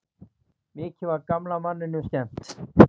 Mikið var gamla manninum skemmt.